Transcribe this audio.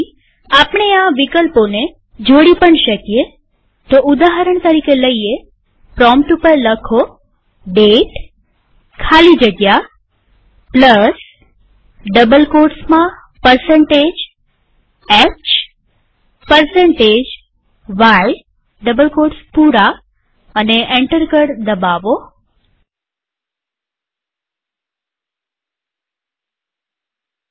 આપણે આ વિકલ્પોને જોડી પણ શકીએઉદાહરણ તરીકેપ્રોમ્પ્ટ ઉપર દાતે ખાલી જગ્યા hy લખી અને એન્ટર કળ દબાવીએ